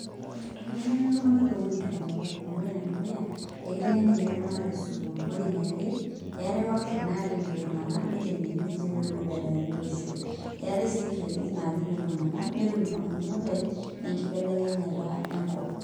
Akitengeni ltunganak towuejitin kumok amu ore enedukuya ekitengeni nye ltunganak tesukul, ore eniare eatae workshop nai attend ltunganak nitengeni nche petumoki aitengena olosho, eetai si training najing ltunganak netum ltunganak knowledge enkibelekenyata enkop.